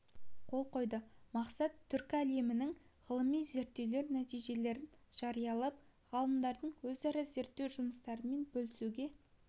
келісімге қол қойды мақсат түркі әлеміндегі ғылыми зерттеулер нәтижелерін жариялап ғалымдардың өзара зерттеу жұмыстарымен бөлісуге